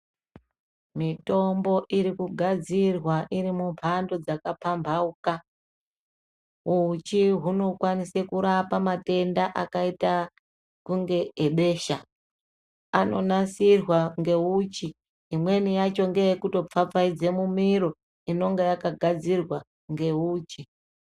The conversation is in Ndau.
Mitombo irikugadzirwa iri mumhando dzakapambauka uchi hunokwanise kurapa matenda akaita kunge ebesha , anonasirwa neuchi amweni acho ndeekutopfapfaidze mumiro inenge yakagadzirwa neuchi.